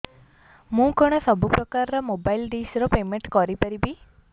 ମୁ କଣ ସବୁ ପ୍ରକାର ର ମୋବାଇଲ୍ ଡିସ୍ ର ପେମେଣ୍ଟ କରି ପାରିବି